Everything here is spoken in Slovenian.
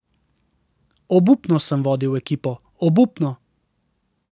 Obupno sem vodil ekipo, obupno.